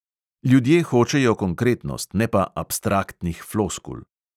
Ljudje hočejo konkretnost, ne pa abstraktnih floskul.